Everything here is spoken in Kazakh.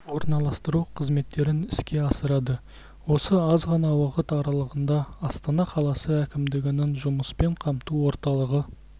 орналастыру қызметтерін іске асырады осы аз ғана уақыт аралығында астана қаласы әкімдігінің жұмыспен қамту орталығы